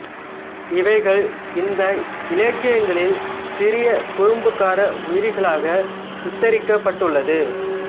இவைகள் இந்த இலக்கியங்களில் சிறிய குறும்புக்கார உயிரிகளாகச் சித்தரிக்கப் பட்டுள்ளது